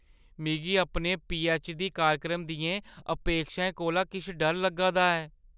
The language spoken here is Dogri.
मिगी अपने पीऐच्च. डी. कार्यक्रम दियें अपेक्षाएं कोला किश डर लग्गा दा ऐ।